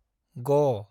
ग